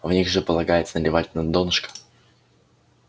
в них же полагается наливать на донышко